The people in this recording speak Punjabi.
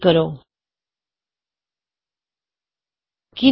ਕਲੋਜ਼ ਤੇ ਕਲਿਕ ਕਰੋ